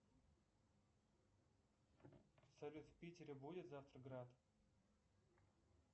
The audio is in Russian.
салют в питере будет завтра град